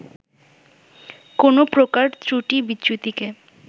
কোনো প্রকার ত্রুটি-বিচ্যুতিকে